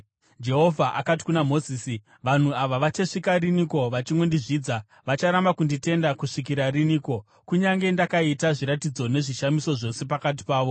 Jehovha akati kuna Mozisi, “Vanhu ava vachasvika riniko vachingondizvidza? Vacharamba kunditenda kusvikira riniko, kunyange ndakaita zviratidzo nezvishamiso zvose pakati pavo?